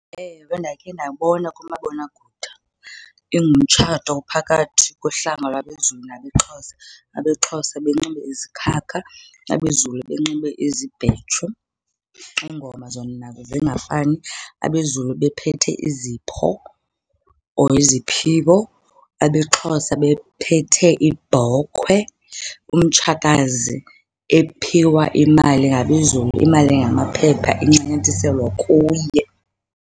Ewe, ndakhe ndabona kumabonakude ingumtshato ophakathi kohlanga lwabeZulu nabeXhosa. AbeXhosa benxibe izikhakha abeZulu benxibe izibhetshu. Iingoma zona zingafani. AbeZulu bephethe izipho or iziphiwo. AbeXhosa bephethe iibhokhwe. Umtshakazi ephiwa imali ngabeZulu, imali engamaphepha incanyathiselwa kuye.